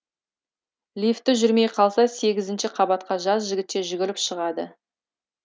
лифті жүрмей қалса сегізінші қабатқа жас жігітше жүгіріп шығады